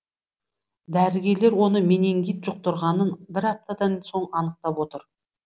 дәрігерлер оның менингит жұқтырғанын бір аптадан соң анықтап отыр